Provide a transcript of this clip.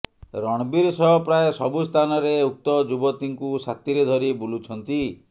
ରଣବୀର୍ ସହ ପ୍ରାୟ ସବୁସ୍ଥାନରେ ଉକ୍ତ ଯୁବତୀଙ୍କୁ ସାଥିରେ ଧରି ବୁଲୁଛନ୍ତି